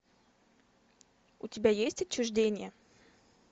у тебя есть отчуждение